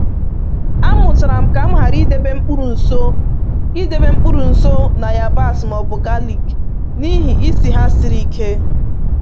Amụtara m ka m ghara idebe mkpụrụ nso idebe mkpụrụ nso na yabasị ma ọ bụ galik n’ihi isi ha siri ike